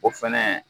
O fɛnɛ